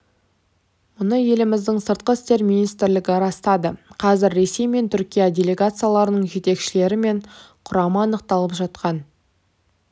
мұны еліміздің сыртқы істер министрлігі растады қазір ресей мен түркия делегацияларының жетекшілері мен құрамы анықталып жатқан